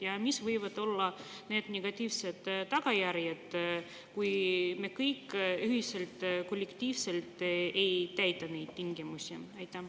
Ja missugused võivad olla negatiivsed tagajärjed, kui me kõik ühiselt, kollektiivselt ei täida neid tingimusi?